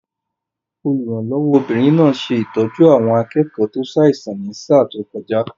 Olùrànlọ́wọ́ obìnrin náà ṣe ìtọ́jú àwọn akẹ́kọ̀ọ́ tó ṣàìsàn ní sáà tó kọjá